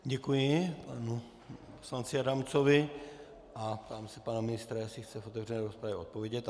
Děkuji panu poslanci Adamcovi a ptám se pana ministra, jestli chce v otevřené rozpravě odpovědět.